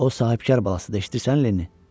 O sahibkar balasıdır, eşidirsən Lenni?